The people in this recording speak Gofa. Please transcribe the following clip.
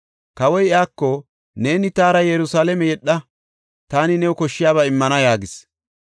Kawoy iyako, “Neeni taara Yerusalaame yedha; taani new koshshiyaba immana” yaagis.